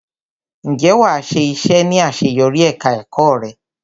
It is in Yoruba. Ǹjẹ́ wàá yá iṣẹ ní ìsòrí ẹka ẹ̀kọ́ eré.